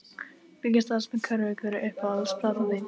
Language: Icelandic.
Fylgist aðeins með körfu Hver er uppáhalds platan þín?